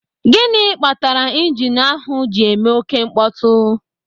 Gịnị kpatara ịjinu ahụ ji eme oké mkpọtụ?